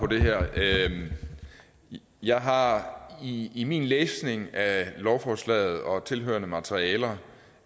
på det her jeg har i i min læsning af lovforslaget og tilhørende materiale